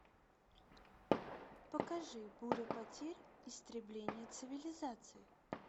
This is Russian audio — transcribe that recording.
покажи буря потерь истребление цивилизаций